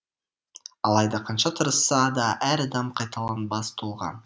алайда қанша тырысса да әр адам қайталанбас тұлға